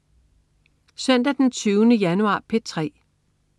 Søndag den 20. januar - P3: